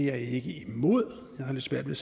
det er jeg ikke imod jeg har lidt svært ved